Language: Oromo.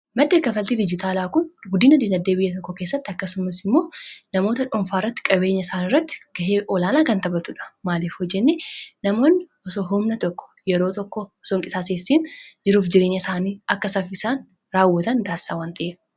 maddi kafaltii diijitaalaa kun guddina dinagdee biyya tokko keessatti akkasumus immoo namoota dhuunfaa irratti qabeenya isaani irratti ga'ee olaanaa kan taphatudha maalif hoo jennee namoonn osoo humna tokko yeroo tokko osoo hin qisaaseessin jiruuf jireenya isaanii akka safisaan raawwatan taasisaa wan ta'eef